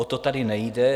O to tady nejde.